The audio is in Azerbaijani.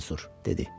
Ya Mənsur, dedi.